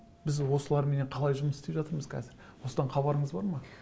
біз осыларменен қалай жұмыс істеп жатырмыз қазір осыдан хабарыңыз бар ма